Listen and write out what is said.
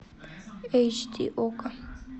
эйч ди окко